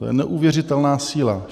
To je neuvěřitelná síla.